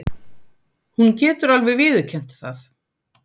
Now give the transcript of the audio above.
Hún getur alveg viðurkennt það.